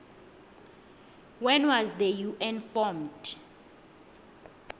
when was the un formed